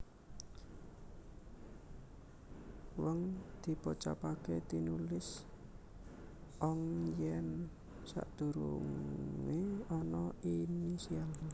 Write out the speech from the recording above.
weng dipocapaké tinulis ong yèn sadurungé ana initial